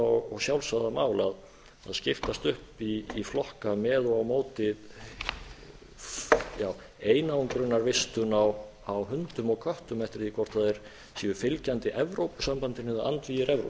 og sjálfsagða mál að skiptast upp í flokka með og á móti einangrunarvistun á hundum og köttum eftir því hvort það séu fylgjandi evrópusambandinu eða andvígir evróvisjón